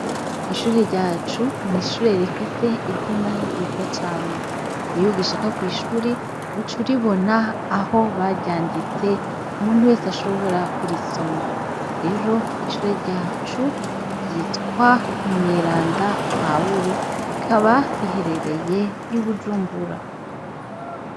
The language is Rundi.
Ishure ryacu n'ishure rifise izina ryiza cane . Iyo ugishika kw'ishure uca uribona aho baryanditse umuntu wese ashobora kurisoma rero ishure ryacu ryitwa Umweranda Paulo rikaba riherereye I bujumbura.